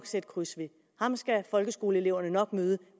sætte kryds ved ham skal folkeskoleeleverne nok møde